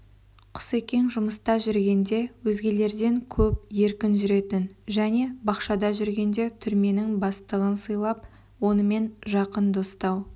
құсекең жұмыста жүргенде өзгелерден көп еркін жүретін және бақшада жүргенде түрменің бастығын сыйлап онымен жақын достау